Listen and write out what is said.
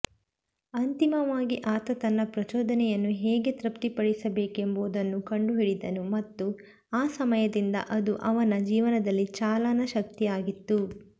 ಅಂತಿಮವಾಗಿ ಆತ ತನ್ನ ಪ್ರಚೋದನೆಯನ್ನು ಹೇಗೆ ತೃಪ್ತಿಪಡಿಸಬೇಕೆಂಬುದನ್ನು ಕಂಡುಹಿಡಿದನು ಮತ್ತು ಆ ಸಮಯದಿಂದ ಅದು ಅವನ ಜೀವನದಲ್ಲಿ ಚಾಲನಾ ಶಕ್ತಿಯಾಗಿತ್ತು